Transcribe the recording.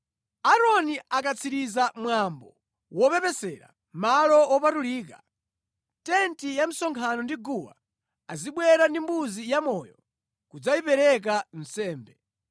“Aaroni akatsiriza mwambo wopepesera Malo Wopatulika, tenti ya msonkhano ndi guwa, azibwera ndi mbuzi yamoyo kudzayipereka nsembe.